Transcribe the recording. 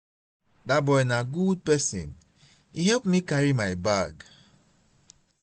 dat boy na good person he help me carry my bag